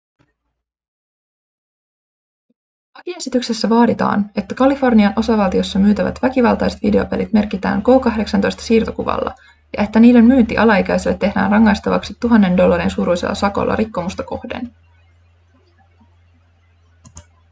lakiesityksessä vaaditaan että kalifornian osavaltiossa myytävät väkivaltaiset videopelit merkitään k18-siirtokuvalla ja että niiden myynti alaikäiselle tehdään rangaistavaksi 1 000 dollarin suuruisella sakolla rikkomusta kohden